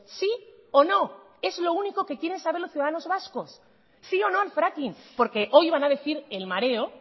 sí o no es lo único que quieren saber los ciudadanos vascos sí o no al fracking porque hoy van a decir el mareo